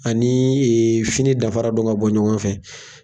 Anii fini danfara dɔn ka bɔ ɲɔgɔn fɛ